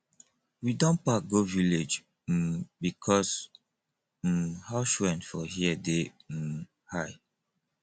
we don pack go village um because um house rent for here dey um high